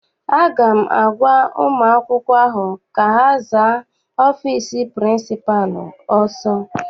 Aga m agwa ụmụ akwụkwọ ahụ ka ha zaa ọfịịsi pịrịnsịpalụ ọsọ!